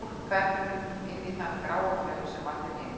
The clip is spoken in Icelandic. Og fólk hverfur inn í þann gráa flaum sem er allir hinir.